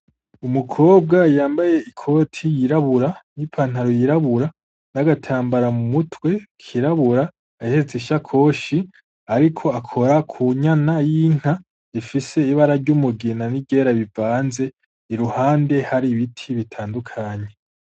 Umukobwa yambaye ikoti y'irabura n'ipantalo y'irabura n'agatambara mu mutwe kirabura ahetse ishakoshi ariko akora ku nyana y'inka ifise ibara ry'umugina ni ryera bivanze iruhande hari ibiti bitandukanye